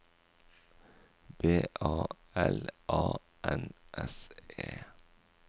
B A L A N S E